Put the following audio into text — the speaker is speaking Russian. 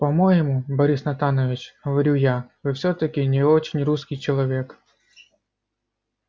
по-моему борис натанович говорю я вы всё-таки не очень русский человек